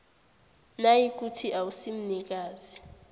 nayikuthi awusi mnikazi